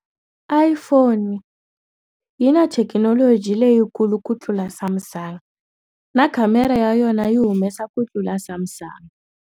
Iphone yi na thekinoloji leyikulu ku tlula Samsung na camera ya yona yi humesa ku tlula Samsung.